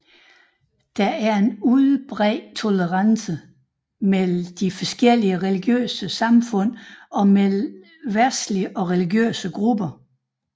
Der er en udbredt tolerance mellem de forskellige religiøse samfund og mellem verdslige og religiøse grupper